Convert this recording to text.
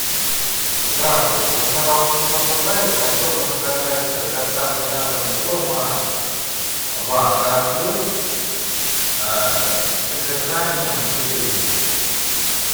здравствуйте у меня волнистый попугай хотел бы заказать с доставкой на дом корма вака плюс с содержанием глютеина